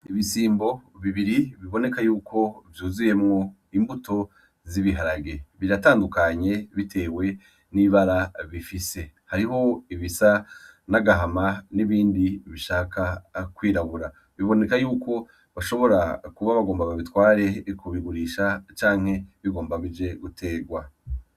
Ibisimbo bibiri biboneka yuko vyuzuyemwo imbuto z’ibiharage , biratandukanye bitewe n’ibara bifise . Hariho ibisa n’agahama n’ibindi bishaka kwirabura. Biboneka yuko bashobora kuba bagomba babitware kubigurisha canke bigomba bije guterwa.